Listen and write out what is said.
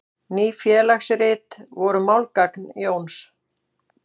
Ný félagsrit voru málgagn Jóns.